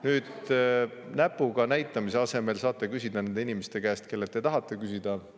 Nüüd, näpuga näitamise asemel saate küsida nende inimeste käest, kellelt te küsida tahate.